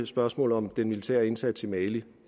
spørgsmålet om den militære indsats i mali